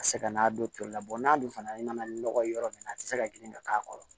A tɛ se ka n'a don toli la n'a dun fana nana nɔgɔ ye yɔrɔ min na a tɛ se ka girin ka k'a kɔrɔ